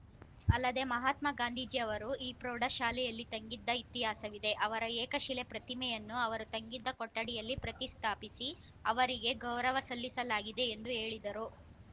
ಅಲ್ಲದೇ ಮಹಾತ್ಮಗಾಂಧೀಜಿ ಅವರು ಈ ಪ್ರೌಢ ಶಾಲೆಯಲ್ಲಿ ತಂಗಿದ್ದ ಇತಿಹಾಸವಿದೆ ಅವರ ಏಕಶಿಲೆ ಪ್ರತಿಮೆಯನ್ನು ಅವರು ತಂಗಿದ್ದ ಕೊಠಡಿಯಲ್ಲಿ ಪ್ರತಿಸ್ಠಾಪಿಸಿ ಅವರಿಗೆ ಗೌರವ ಸಲ್ಲಿಸಲಾಗಿದೆ ಎಂದು ಹೇಳಿದರು